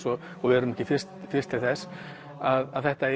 og og við erum ekki fyrst fyrst til þess að þetta